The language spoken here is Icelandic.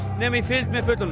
nema í fylgd með fullorðnum